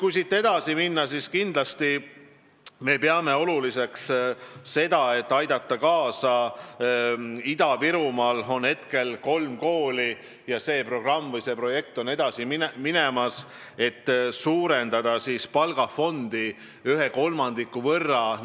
Kui siit edasi minna, siis kindlasti me peame oluliseks kaasa aidata projektile, et suurendada Ida-Virumaa õpetajate palgafondi ühe kolmandiku võrra.